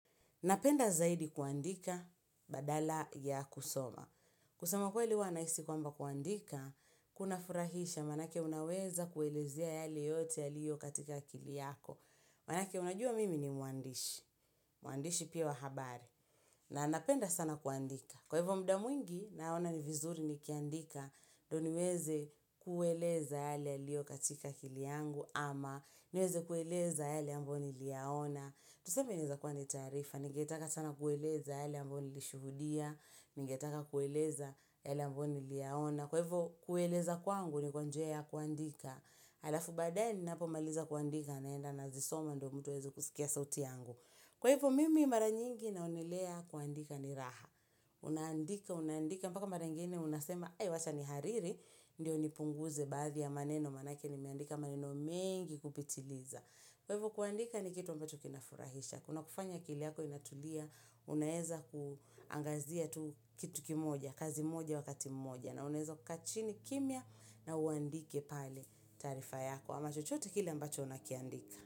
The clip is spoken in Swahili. Napenda zaidi kuandika badala ya kusoma. Kusema kweli uwa nahisi kwamba kuandika, kunafurahisha manake unaweza kuelezea yale yote yaliyo katika akili yako. Manake unajua mimi ni mwandishi, mwandishi pia wahabari. Na napenda sana kuandika. Kwa hivo muda mwingi, naona ni vizuri nikiandika ndo niweze kueleza yale yaliyo katika akili yangu ama niweze kueleza yale ambayo niliyaona. Tuseme inaeza kuwa ni taarifa, ningetaka sana kueleza yale ambayo nilishuhudia, ningetaka kueleza yale ambayo niliyaona. Kwa hivyo, kueleza kwangu ni kwa njia kuandika. Halafu baadaye, ninapomaliza kuandika naenda nazisoma ndio mtu aweze kusikia sauti yangu. Kwa hivyo, mimi mara nyingi naonelea kuandika ni raha. Unaandika, unaandika, mpaka mara ingine unasema, ee wacha nihariri, ndio nipunguze baadhi ya maneno manake nimeandika maneno mengi kupitiliza. Kwa hivyo kuandika ni kitu ambacho kinafurahisha. Kunakufanya akili yako inatulia, unaeza kuangazia kitu kimoja, kazi moja wakati moja. Na unaeza kukaa chini kimya na uandike pale taarifa yako. Ama chochote kile ambacho unakiandika.